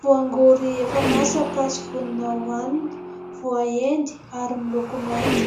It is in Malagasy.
Voangory efa masaka sy vonona hoanina, voaendy ary miloko mainty